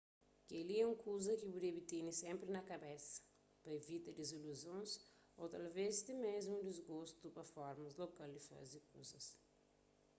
kel-li é un kuza ki bu debe tene sénpri na kabesa pa ivita diziluzons ô talvés ti mésmu disgostu pa formas lokal di faze kuzas